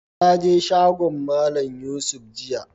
Na je shagon Mallam Yusuf jiya.